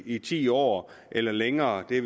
i ti år eller længere det